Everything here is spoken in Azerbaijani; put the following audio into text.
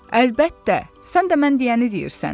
Əlbəttə, sən də mən deyəni deyirsən.